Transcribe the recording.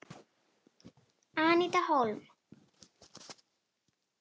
Aníta Hólm.